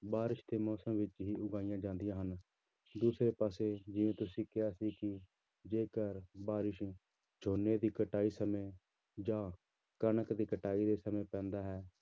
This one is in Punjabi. ਬਾਰਿਸ਼ ਦੇ ਮੌਸਮ ਵਿੱਚ ਹੀ ਉਗਾਈਆਂ ਜਾਂਦੀਆਂ ਹਨ ਦੂਸਰੇ ਪਾਸੇ ਜਿਵੇਂ ਤੁਸੀਂ ਕਿਹਾ ਸੀ ਕਿ ਜੇਕਰ ਬਾਰਿਸ਼ ਝੋਨੇ ਦੀ ਕਟਾਈ ਸਮੇਂ ਜਾਂ ਕਣਕ ਦੀ ਕਟਾਈ ਦੇ ਸਮੇਂ ਪੈਂਦਾ ਹੈ,